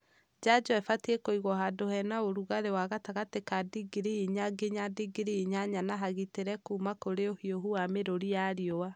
Njanjo ibatiĩ kũigwo handũ he na ũrugarĩ wa gatagatĩ-inĩ ka ndingiri inya nginya ndingiri inyanya na hagitĩre kuma kurĩ ũhiũhu na mĩrũri ya riũa.